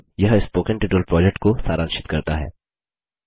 यह spoken tutorial project को सारांशित करता है